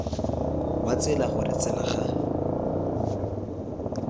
wa tsela gore tsela ga